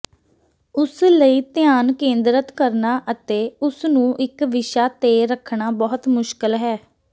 ਉਸ ਲਈ ਧਿਆਨ ਕੇਂਦਰਤ ਕਰਨਾ ਅਤੇ ਉਸ ਨੂੰ ਇੱਕ ਵਿਸ਼ਾ ਤੇ ਰੱਖਣਾ ਬਹੁਤ ਮੁਸ਼ਕਲ ਹੈ